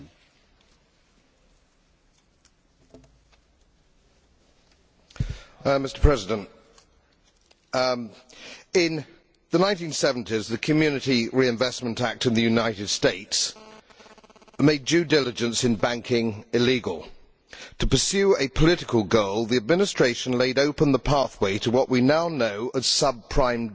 Mr President, in the 1970s the Community Reinvestment Act in the United States made due diligence in banking illegal. To pursue a political goal, the Administration laid open the pathway to what we now know as sub prime debt. It proved to be as I said it would at the time a pathway to hell